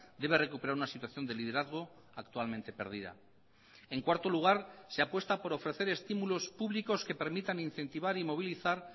debe recuperar una situación de liderazgo actualmente perdida en cuarto lugar se apuesta por ofrecer estímulos públicos que permitan incentivar y movilizar